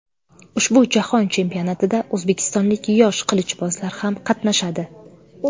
Ushbu jahon chempionatida o‘zbekistonlik yosh qilichbozlar ham qatnashadi.